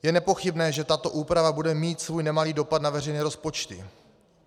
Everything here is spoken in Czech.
Je nepochybné, že tato úprava bude mít svůj nemalý dopad na veřejné rozpočty.